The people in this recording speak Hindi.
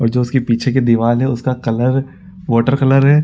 और जो उसके पीछे की दीवाल है उसका कलर वॉटर कलर हैं।